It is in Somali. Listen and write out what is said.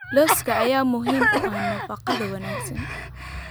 Lowska ayaa muhiim u ah nafaqada wanaagsan.